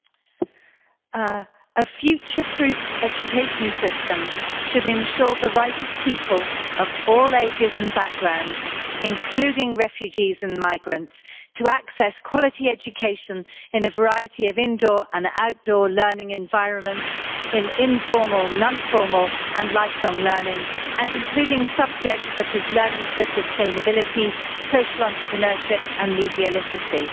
Mr President, a future-proofed education system should ensure the right of people of all ages and backgrounds, including refugees and migrants, to access quality education in a variety of indoor and outdoor learning environments, in informal, non-formal and lifelong learning, and including subjects such as learning for sustainability, social entrepreneurship and media literacy.